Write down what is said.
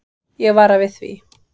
Ég vara við því.